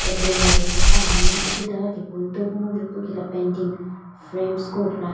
table la bepepuani ipu itaghi tipau kudau kunguu jupukela painting frames qo ithuluani.